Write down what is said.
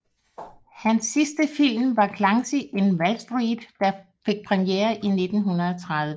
Hans sidste film var Clancy in Wallstreet der fik premiere i 1930